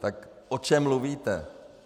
Tak o čem mluvíte?